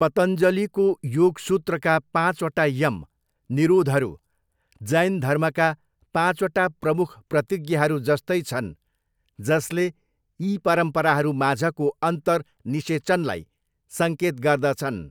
पतञ्जलिको योग सूत्रका पाँचवटा यम, निरोधहरू, जैन धर्मका पाँचवटा प्रमुख प्रतिज्ञाहरू जस्तै छन्, जसले यी परम्पराहरूमाझको अन्तर निषेचनलाई सङ्केत गर्दछन्।